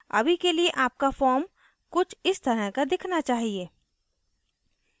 अभी के लिए अपका form कुछ इस तरह का दिखना चाहिए